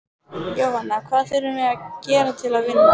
Jóhanna: Hvað þurfum við að gera til að vinna?